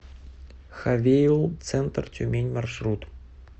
хавейл центр тюмень маршрут